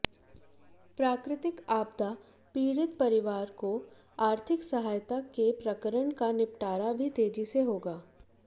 प्राकृतिक आपदा पीड़ित परिवारों को आर्थिक सहायता के प्रकरण का निपटारा भी तेजी से होगा